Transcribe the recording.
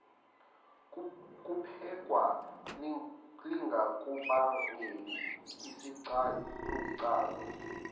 kuphekwa lingakubangeli isicanucanu